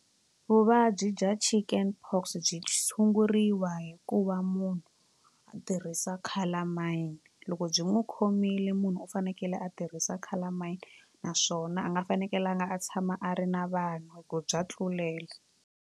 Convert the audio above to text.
Vuvabyi bya chicken pox byi tshunguriwa hi ku va munhu a tirhisa calamine loko byi n'wi khomile munhu u fanekele a tirhisa calamine naswona a nga fanekelanga a tshama a ri na vanhu hi ku bya tlulela.